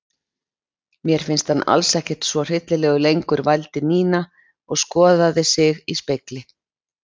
Mér finnst hann alls ekkert svo hryllilegur lengur vældi Nína og skoðaði sig í spegli.